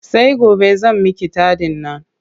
Sai gobe zan miki taɗin nan.